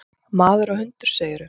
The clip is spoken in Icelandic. Maður og hundur, segirðu?